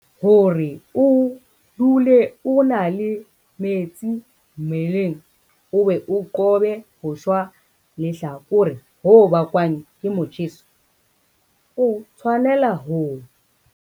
Hore o dule o na le metsi mmeleng o be o qobe ho shwa lehlakore ho bakwang ke motjheso, o tshwanela ho.